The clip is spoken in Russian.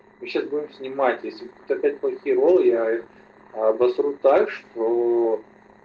мы сейчас будем снимать если опять будет херово я обосру так чтоо